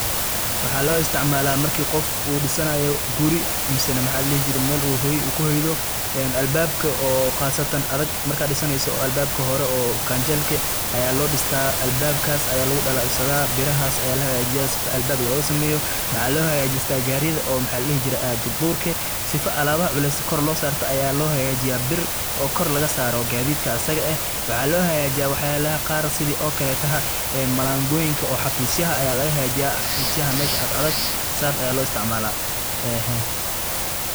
waxaa loo isticmaala markii qof uu dhisanayo guri mise maxa ladhihi jire mel hoy uu kuhoydo, een albabka oo qasatan adag markaa dhisaneyso albabka hore oo ganjalka eh aya loo dhista albabkaas aya lugu dhalal sadaa birahaas aya la hagajiya sifo albab looga sameeyo, maxa loo hagajista garidaoo maxa ladhahaye aado durka sifo alabaha culeys kor loo saarto aya loo hagajiya bir oo kor laga saaro gaadidka asaga eh, waxaa loo hagajiya wax yalada qar sidii okaleto malangoyinka oo xafisyaha aya laga hagajiya, xafisyaha meshii asd adag saas aya loo isticmaala enhe